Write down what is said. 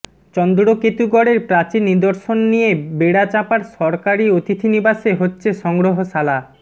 চন্দ্রকেতুগড়ের প্রাচীন নিদর্শন নিয়ে বেড়াচাঁপার সরকারি অতিথি নিবাসে হচ্ছে সংগ্রহশালা